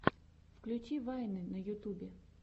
включи вайны на ютубе